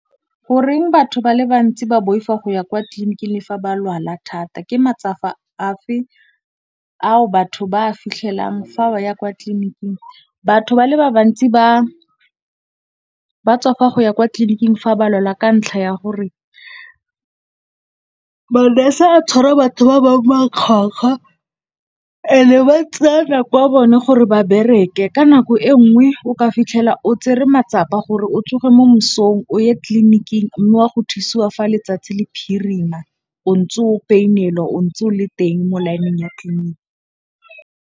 Goreng batho ba le bantsi ba boifa go ya kwa tlliniking le fa ba lwala thata, ke matsapa afe ao batho ba a fitlhelang fa ba ya kwa tlliniking? Batho ba le ba bantsi ba tswafa go ya kwa tlliniking fa ba lwala ka ntlha ya gore manese a tshwara batho ba bangwe makgwakgwa and ba tseya nako ya bone gore ba bereke, ka nako e nngwe o ka fitlhela o tsere matsapa gore o tsoge mo mosong o ye tlliniking mme wa go thusiwa fa letsatsi le phirima, o ntse o painelwa o ntse o le teng mo laeneng ya tlliniki.